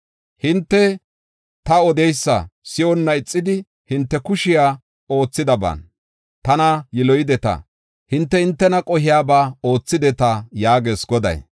“Hinte ta odidaysa si7onna ixidi, hinte kushey oothidaban tana yiloyideta. Hinte, hintena qohiyaba oothideta” yaagees Goday.